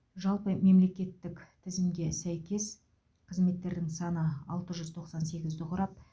жалпы мемлекеттік тізімге сәйкес қызметтердің саны алты жүз тоқсан сегізді құрап